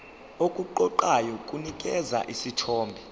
okuqoqayo kunikeza isithombe